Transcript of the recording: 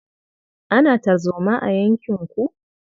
Ana tarzoma a yankinku?